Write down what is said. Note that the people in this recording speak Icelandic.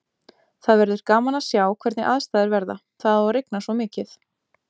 Það verður gaman að sjá hvernig aðstæður verða, það á að rigna svo mikið.